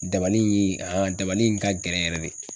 Dabali in dabali in ka gɛlɛn yɛrɛ de